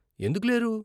ఎందుకు లేరు?